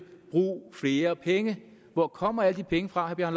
brug flere penge hvor kommer alle de penge fra når